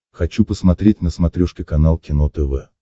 хочу посмотреть на смотрешке канал кино тв